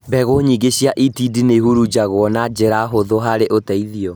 Mbegũ nyingĩ cia itindiĩ nĩihurunjagwo na njĩra hũthũ harĩ ũteithio